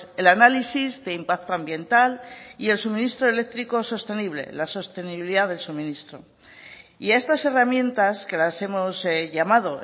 el análisis de impacto ambiental y el suministro eléctrico sostenible la sostenibilidad del suministro y a estas herramientas que las hemos llamado